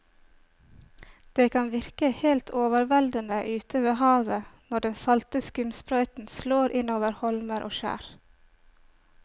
Det kan virke helt overveldende ute ved havet når den salte skumsprøyten slår innover holmer og skjær.